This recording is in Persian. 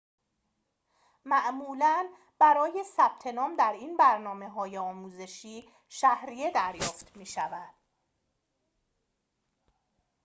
معمولاً برای ثبت‌نام در این برنامه‌های آموزشی شهریه دریافت می‌شود